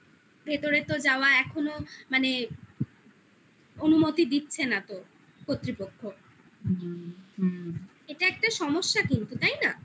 ভেতরে তো যাওয়া এখনো মানে অনুমতি দিচ্ছে না তো কর্তৃপক্ষ হুম এটা একটা সমস্যা কিন্তু তাই না